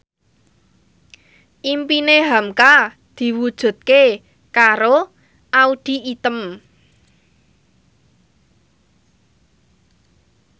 impine hamka diwujudke karo Audy Item